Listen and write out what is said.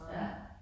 Ja